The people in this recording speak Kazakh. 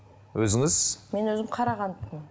өзіңіз мен өзім қарағанды